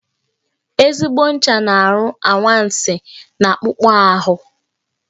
Ezigbo ncha na-arụ anwansị n'akpụkpọ ahụ